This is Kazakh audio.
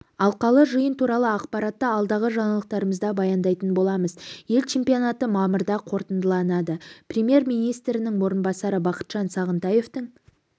алқалы жиын туралы ақпаратты алдағы жаңалықтарымызда баяндайтын боламыз ел чемпионаты мамырда қорытындыланады премьер-министрінің орынбасары бақытжан сағынтаевтың